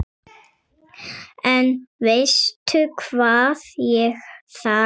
En veistu hvað ég þarf.